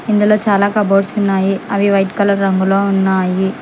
ఇందులో చాలా కబోర్డ్స్ ఉన్నాయి అవి వైట్ కలర్ రంగులో ఉన్నాయి.